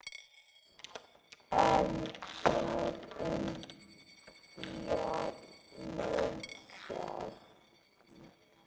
En hvað um barnið sjálft?